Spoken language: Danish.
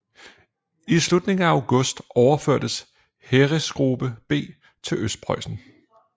I slutningen af august overførtes Heeresgruppe B til Østpreussen